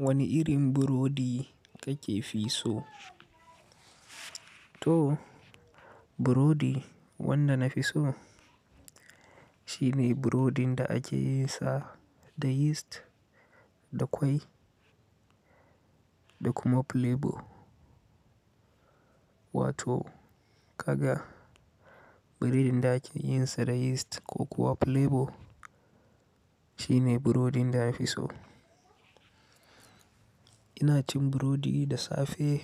Wani irin burodi ka ke fi so? To, burodi wanda na fi so, shine burodin da ake yin sa da yist, da ƙwai da kuma plebo. Wato kaga biredin da ake yin sa da yist ko kuwa plebo, shine burodin da na fi so. Ina cin burodi da safe,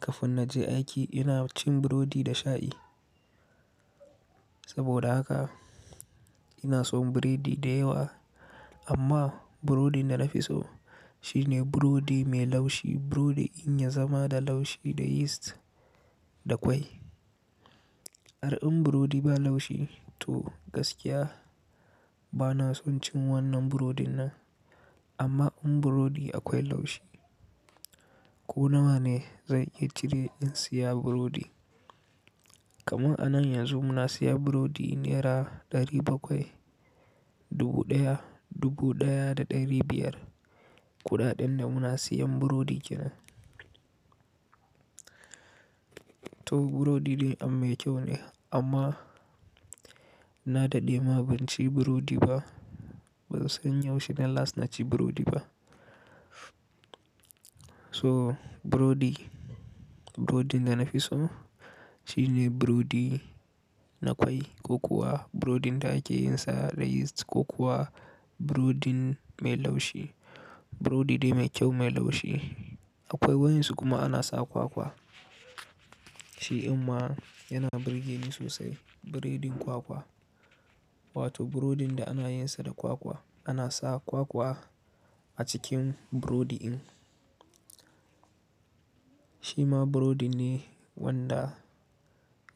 kafin na je aiki, ina cin burodi da shayi. Saboda haka ina son biredi da yawa, amma burodin da na fi so shine burodi mai laushi, burodi in ya zama da laushi, da yist, da kwai. Ar in burodi ba laushi, to gaskiya, ba na son cin wannan burodin nan. Amma in burodi akwai laushi, ko na wa ne zan iya cire in siya burodi. Kaman a nan yanzu muna siya burodi nera ɗari bakwai, dubu ɗaya, dubu ɗaya da ɗari biyar, kuɗaɗen da muna siyan burodi ke nan. To, burodi dai am-- mai kyau ne, amma, na daɗe ma ban ci burodi ba. Ban san yaushe ne las na ci burodi ba. So burodi, burodin da na fi so shine burodi na kwai ko kuwa burodin da ake yin sa da yist ko kuwa burodin mai laushi. Burodi dai mai kyau mai laushi. Akwai wayansu kuma ana sa kwakwa. Shi imma yana birge ni sosai, biredin kwakwa. Wato burodin da ana yin sa da kwakwa. Ana sa kwakwa a cikin burodi in. Shi ma burodi ne wanda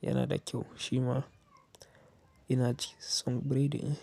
yana da kyau. Shi ma ina ci, son biredi in.